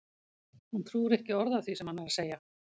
Hún trúir ekki orði af því sem hann er að segja!